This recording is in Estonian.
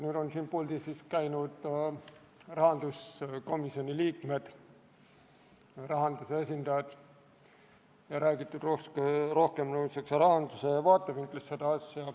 Meil on siin puldis käinud rahanduskomisjoni liikmed ja rahanduse esindajad ning eelnõust on räägitud rohkem rahanduse vaatevinklist.